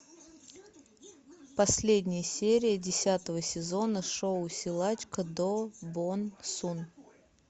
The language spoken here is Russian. последняя серия десятого сезона шоу силачка до бон сун